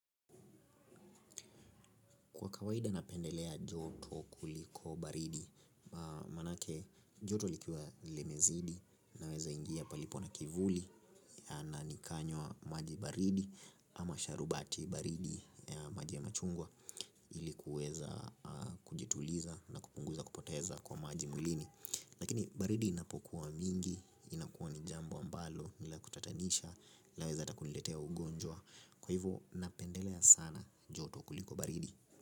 Kwa kawaida napendelea joto kuliko baridi manake joto likiwa limezidi naweza ingia palipo na kivuli na nikanywa maji baridi ama sharubati baridi maji ya machungwa ili kuweza kujituliza na kupunguza kupoteza kwa maji mwilini. Lakini baridi inapokuwa mingi inakuwa ni jambo ambalo ni la kutatanisha laweza hata kuniletea ugonjwa kwa hivo napendelea sana joto kuliko baridi.